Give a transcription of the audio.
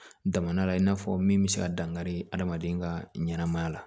Damanda la in n'a fɔ min bɛ se ka dankari adamaden ka ɲɛnɛmaya la